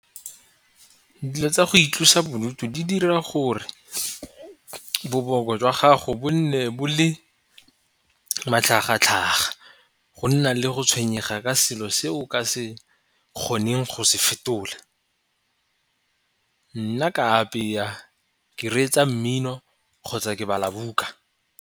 Dilo tsa go itlosa bodutu di dira gore boboko jwa gago bone bo le matlhagatlhaga go nna le go tshwenyega ke selo se o ka se kgoneng go se fetola. Nna ke a apeya, ke reetsa mmino, kgotsa ke bala buka.